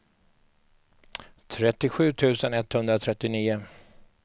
trettiosju tusen etthundratrettionio